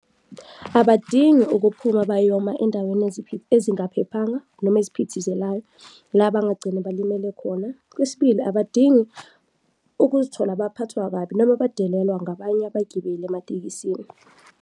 Abadingi ukuphuma bayoma endaweni ezingaphephanga noma eziphithizelayo la bangagcine balimele khona. Kwesibili, abadingi ukuzithola baphathwa kabi noma badalelwa ngabanye abagibeli ematekisini.